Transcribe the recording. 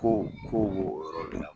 Ko kow b'o yɔrɔ de la